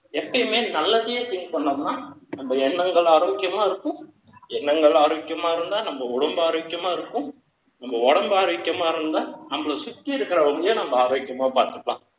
எப்பயுமே நல்லதையே think பண்ணோம்னா, நம்ம எண்ணங்கள் ஆரோக்கியமா இருக்கும். எண்ணங்கள் ஆரோக்கியமா இருந்தா, நம்ம உடம்பு ஆரோக்கியமா இருக்கும் உங்க உடம்பு ஆரோக்கியமா இருந்தா, நம்மள சுத்தி இருக்கிறவங்களையும், நம்ம ஆரோக்கியமா பாத்துக்கலாம்.